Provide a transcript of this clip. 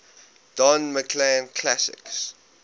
don mclean classics